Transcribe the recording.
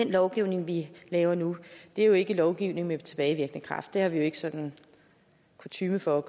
lovgivning vi laver nu er jo ikke lovgivning med tilbagevirkende kraft det er der ikke sådan kutyme for at